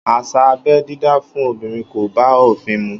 Áṣá ábẹ̀ didá fùn òbirin kò bà òfin mù